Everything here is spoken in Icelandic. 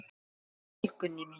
Farðu vel, Gunný mín.